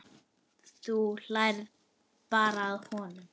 Þú hlærð bara að honum.